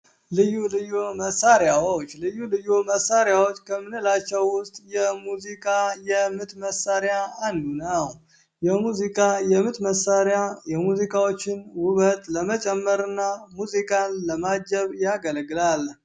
ልዩ ልዩ መሳሪያዎች ልዩ ልዩ መሳሪያዎች ከምንላቸው ውስጥ የሙዚቃ የምት መሳሪያ አንዱ ነው። የሙዚቃ የምት መሳሪያ የሙዚቃዎችን ውበት ለመጨመር እና ሙዚቃን ለማጀብ ያገለግላል።